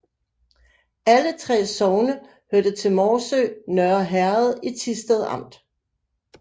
Alle 3 sogne hørte til Morsø Nørre Herred i Thisted Amt